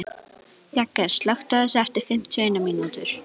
Jagger, slökktu á þessu eftir fimmtíu og eina mínútur.